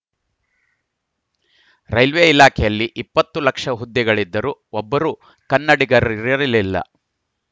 railway ಇಲಾಖೆಯಲ್ಲಿ ಇಪ್ಪತ್ತು ಲಕ್ಷ ಹುದ್ದೆಗಳಿದ್ದರೂ ಒಬ್ಬರೂ ಕನ್ನಡಿಗರಿರಲಿಲ್ಲ